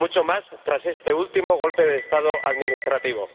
Mucho más tras este último golpe de Estado administrativo.